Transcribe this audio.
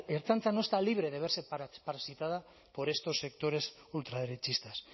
ertzaintza no está libre de verse parasitada por estos sectores ultraderechistas